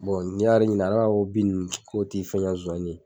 n'i y'ale ɲininka ale b'a fɔ ko bin nunnu k'o ti foyi ɲɛn Zonzanni nunnu ye.